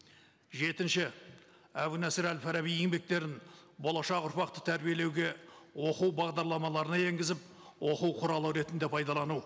жетінші әбу насыр әл фараби еңбектерін болашақ ұрпақты тәрбиелеуге оқу бағдарламаларына енгізіп оқу құралы ретінде пайдалану